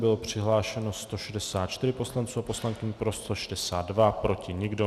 Bylo přihlášeno 164 poslanců a poslankyň, pro 162, proti nikdo.